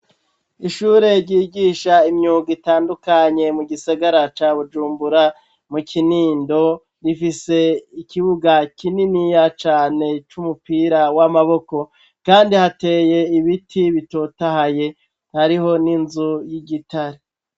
Ishure ryigisha imyuga itandukanye mu gisigara ca Bujumbura, mu Kinindo, rifise ikibuga kininiya cane c'umupira w'amaboko kandi hateye ibiti bitotahaye. Hariho n'inzu y'igitare.